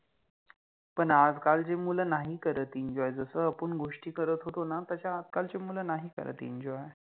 पण आजकालचि मुल नाहि करत Enjoy जस आपन गोष्टी करत होतो न तश्या आजकालचि मुल नाहि करत एंजोय {enjoy}